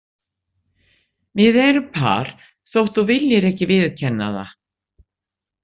Við erum par þótt þú viljir ekki viðurkenna það.